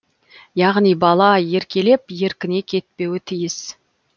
яғни баға еркелеп еркіне кетпеуі тиіс